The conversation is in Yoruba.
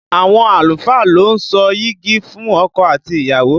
Àwọn àlùfáà lo ń so yigi fún ọkọ àti ìyàwó